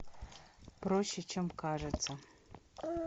проще чем кажется